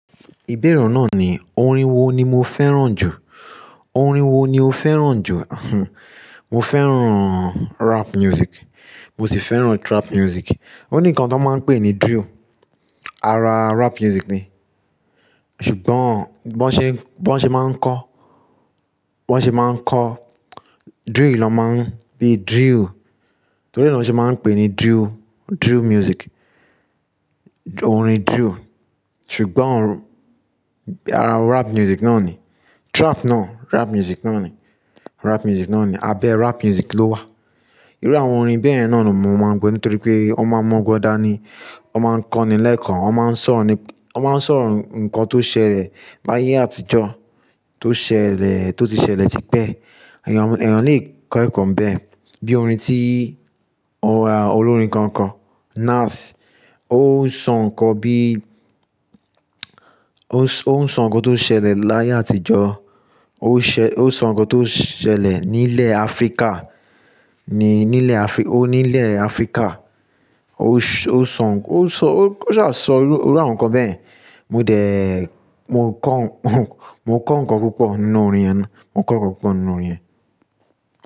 Ìbéèrè náà ni orin wo ni mo fẹ́ràn jù. Orin wo ni o fẹ́ràn jù? Mo fẹ́ràn rap music, mo sì fẹ́ràn trap music. Ó ní nǹkan tó máa ń pè ní drill, ara rap music ni. Ṣùgbọ́n bí wọ́n ṣe, bí wọ́n ṣe máa ń kọ, bí wọ́n ṣe máa ń kọ, drill ló máa ń bí drill, torí náà ló ṣe máa ń pè ní drill, drill music. Orin drill. Ṣùgbọ́n ara rap music náà ni. Trap náà rap music náà ni. Rap music náà ni. Abẹ́ rap music ló wà. Irú àwọn orin bẹ́yẹ̀n náà ni mo máa ń gbọ́ nítorí pé wọ́n máa ń mọ́gbọ́n dáni. Wọ́n máa ń kọ́ni lẹ́ẹ̀kan, wọ́n máa ń sọ̀rọ̀ ni, wọ́n máa ń sọ̀rọ̀ ǹkan tó ṣẹlẹ̀ láyé àtijọ́, tó ṣẹlẹ̀, tó ti ṣẹlẹ̀ tipẹ́. Ẹ̀yàn, ẹ̀yàn lè kọ ẹ̀kọ́ n bẹ́ẹ̀. Bí i orin tí ó ra olórin kan kọ, nas. Ó ń sọ ǹkan bí ó ń sọ ǹkan tó ṣẹlẹ̀ láyé àtijọ́. Ó ṣẹ-- ó ń sọ ǹkan tó ṣẹlẹ̀ ní ilẹ̀ Áfríkà. Ni ní ilẹ̀ Áfrí-- ó ní ilẹ̀ Áfríkà. Ó s-- ó ṣ-- ó sọ, ó ṣ-- ó sá á sọ irú, irú àwọn ǹkan bẹ́yẹ̀n. Mo dẹ̀, mo kọ́ mo kọ́ ǹkan púpọ̀ nínú orin yẹn náà. Mo kọ́ ǹkan púpọ̀ nínú orin yẹn.